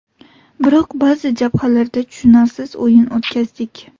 Biroq ba’zi jabhalarda tushunarsiz o‘yin o‘tkazdik.